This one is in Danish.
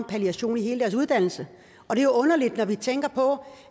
palliation i hele deres uddannelse og det er underligt når vi tænker på